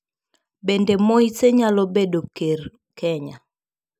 Bende Moise nyalo bedo ker Kenya?